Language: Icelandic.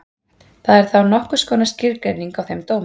Það er þá nokkurs konar skilgreining á þeim dómi.